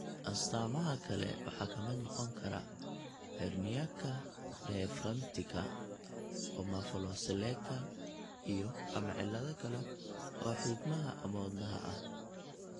Astaamaha kale waxaa ka mid noqon kara herniaka diaphragmaticka, omphaloceleka, iyo/ama cillado kale oo xiidmaha ama wadnaha ah.